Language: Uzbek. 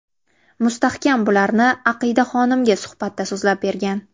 Mustahkam bularni Aqida Xonimga suhbatda so‘zlab bergan .